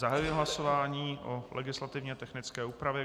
Zahajuji hlasování o legislativně technické úpravě.